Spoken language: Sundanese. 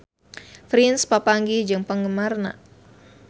Prince papanggih jeung penggemarna